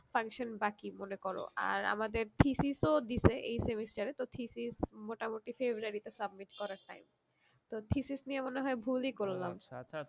function বাকি মনে করো আর আমাদের thesis ও দিছে এই semester এ তো thesis মোটামুটি February তে submit করার time তো thesis নিয়ে মনে হয়ে ভুলই করলাম